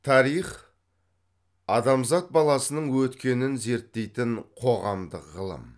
тарих адамзат баласының өткенін зерттейтін қоғамдық ғылым